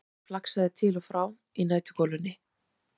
Gardínan flaksaðist til og frá í næturgolunni.